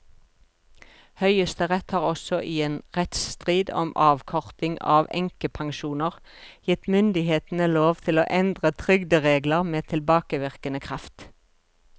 Høyesterett har også i en rettsstrid om avkorting av enkepensjoner gitt myndighetene lov til å endre trygderegler med tilbakevirkende kraft.